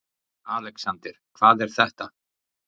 ALEXANDER: Hvað er þetta?